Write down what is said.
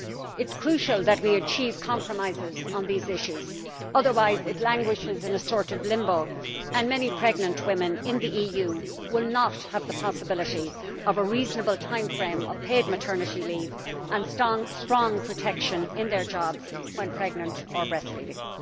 It is crucial that we achieve compromises on these issues, otherwise it languishes in a sort of limbo and many pregnant women in the EU will not have the possibility of a reasonable time frame of paid maternity leave and strong protection in their jobs when pregnant or breastfeeding.